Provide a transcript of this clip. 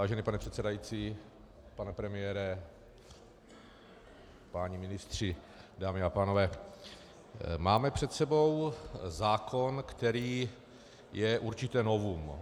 Vážený pane předsedající, pane premiére, páni ministři, dámy a pánové, máme před sebou zákon, který je určité novum.